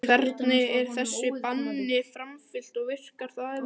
Hvernig er þessu banni framfylgt og virkar það yfir höfuð?